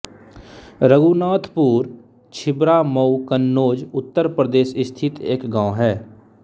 रघुनाथपुर छिबरामऊ कन्नौज उत्तर प्रदेश स्थित एक गाँव है